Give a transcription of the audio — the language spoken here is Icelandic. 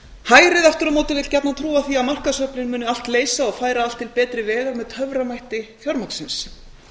hægrið aftur á móti vill gjarnan trúa því að markaðsöflin muni allt leysa og færa allt til betri vegar með töframætti fjármagnsins